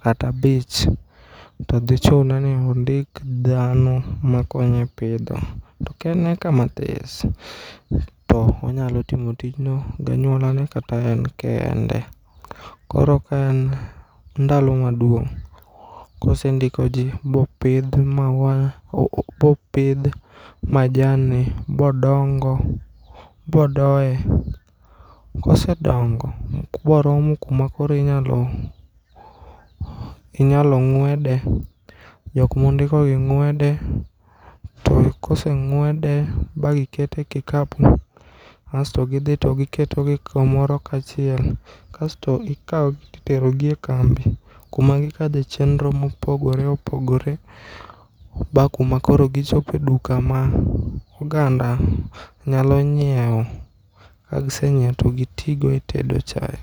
kata abich todhichune ni ondik dhano makonye pidho. To ken eka mathis to onyalo timo tijno gi anyuolane kata en kende. Koro ka en ndalo maduong' kosendikoji bopidh maua, bopidh majanni bodongo, bodoe. Kosedongo boromo kuma koro inyalo, inyalo ng'wede, jokmondikogi ng'wede to koseng'wede bagikete kikapu asto gidhi to giketogi kamoro kachiel kasto ikaogi titerogi e kambi kuma gikadhe chenro mopogore opogore ba kuma koro gichope duka ma oganda nyalo nyieo kagisenyieo togitigo e tedo chae.